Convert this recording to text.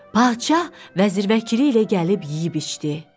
Padşah vəzir-vəkil ilə gəlib yeyib-içdi.